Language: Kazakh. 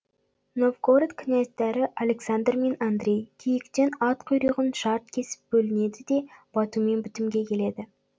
новгород князьдары александр мен андрей күйіктен ат құйрығын шарт кесіп бөлінеді де батумен бітімге келеді